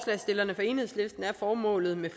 enhedslisten er formålet med